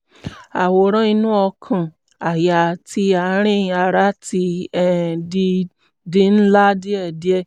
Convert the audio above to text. àwòrán inú ọkàn-àyà àti àárín ara ti um di di ńlá díẹ̀